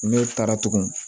Ne taara tugun